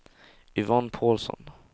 Yvonne Paulsson